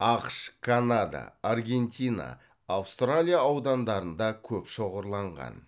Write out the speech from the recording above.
ақш канада аргентина аустралия аудандарында көп шоғырланған